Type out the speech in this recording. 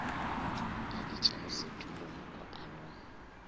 a ditšego setulo mo kopanong